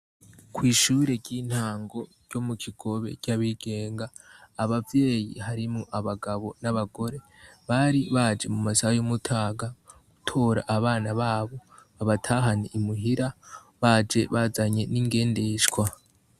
Kw'ishure ry'intango ryo mu Kigobe ry'abigenga, abavyeyi harimwo abagabo n'abagore bari baje mu masaha y'umutaga gutora abana babo babatahane imuhira, baje bazanye n'ingendeshwa.